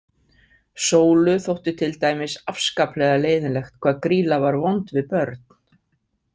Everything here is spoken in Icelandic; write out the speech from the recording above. Sólu þótti til dæmis afskaplega leiðinlegt hvað Grýla var vond við börn!